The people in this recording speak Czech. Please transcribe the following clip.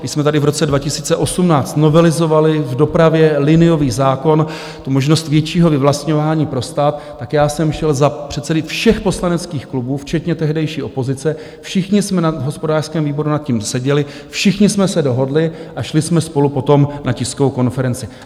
Když jsme tady v roce 2018 novelizovali v dopravě liniový zákon, tu možnost většího vyvlastňování pro stát, tak já jsem šel za předsedy všech poslaneckých klubů, včetně tehdejší opozice, všichni jsme na hospodářském výboru nad tím seděli, všichni jsme se dohodli a šli jsme spolu potom na tiskovou konferenci.